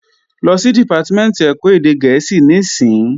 Lọ sí Dìpátímẹ̀ntì ẹ̀kọ́ èdè gẹ̀ẹ́sì níìsín!